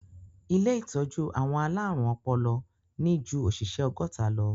Ilé ìtọ́jú àwọn alárùn ọpọlọ ní ju òṣìṣẹ́ ọgọ́ta lọ.